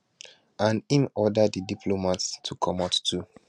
and im order di diplomats to comot too